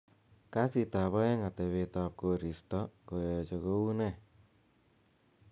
kassit ab oeng atebtab koristo koyoche koune